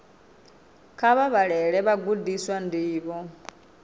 kha vha vhalele vhagudiswa ndivho